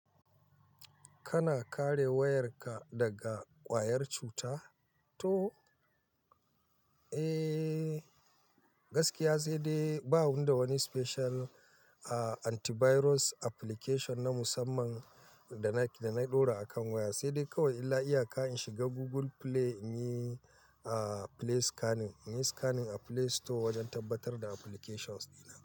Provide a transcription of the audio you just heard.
Kana kare wayarka daga ƙwayar cuta? To, eh gaskiya sai dai ba wanda wani special antivirus application na musamman da na ɗora a kan waya. Sai dai kawai illa iyaka in shiga Google Play in yi play scanning, in yi scanning a Play Store wajen tabbatar da applications dina.